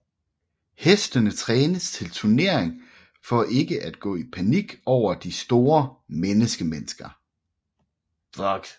Hestene trænes til turnering for ikke at gå i panik over de store menneskemængder